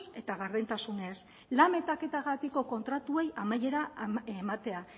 eta gardentasunez lan metaketagatiko kontratuei amaiera ematea